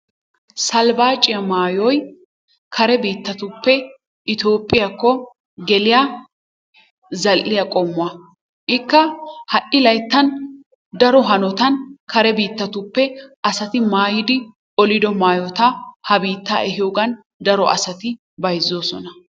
Salbaaciya mayoy kare biittatuppe itoophphiyakko geliya zal'iya qommuwa. Ikka ha'i layittan daro hanotan kare biittatuppe asati mayidi olido mayota ha biittaa ehiyogan daro asati bayizzoosona.